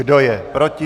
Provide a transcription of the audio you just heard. Kdo je proti?